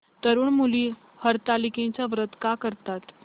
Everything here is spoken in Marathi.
तरुण मुली हरतालिकेचं व्रत का करतात